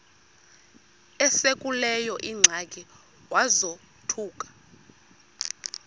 esekuleyo ingxaki wazothuka